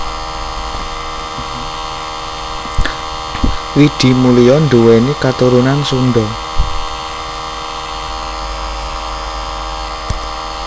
Widi Mulia nduwéni katurunan Sunda